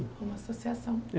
Uma associação. É